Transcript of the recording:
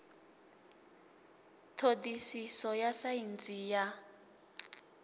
ṱho ḓisiso ya saintsi ya